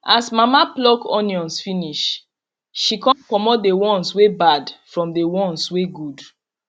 as mama pluck onions finish she con comot the ones wey bad from the ones wey good